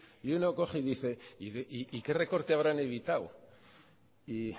y uno coge y dice y qué recorte habrán evitado y